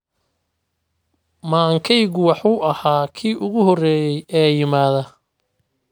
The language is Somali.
Maankeygu wuxuu ahaa kii ugu horreeyay ee yimaada.